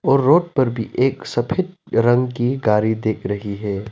और रोड पर भी एक सफेद रंग की गाड़ी दिख रही है।